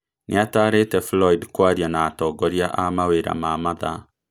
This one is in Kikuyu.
Nĩatarĩte Floyd kwaria na atongoria a mawĩra ma mathaa